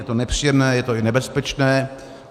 Je to nepříjemné, je to i nebezpečné.